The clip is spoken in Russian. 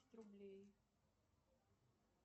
рублей